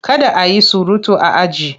Kada a yi surutu a aji!